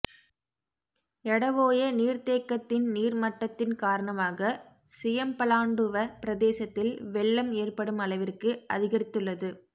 எடஓய நீர்த் தேக்கத்தின் நீர் மட்டத்தின் காரணமாக சியம்பலாண்டுவ பிரதேசத்தில் வெள்ளம் ஏற்படும் அளவிற்கு அதிகரித்துள்ளது